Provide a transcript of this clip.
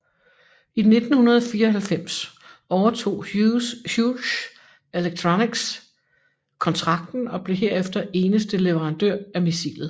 I 1994 overtog Hughes Electronics kontrakten og blev herefter eneste leverandør af missilet